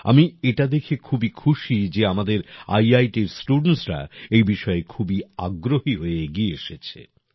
আমি এটা দেখে খুবই খুশি যে আমাদের IITএর স্টুডেন্টসরা এই বিষয়ে খুবই আগ্রহী হয়ে এগিয়ে এসেছে